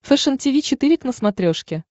фэшен тиви четыре к на смотрешке